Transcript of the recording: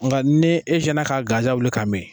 Nga ni e sinna ka gansan wuli ka mi.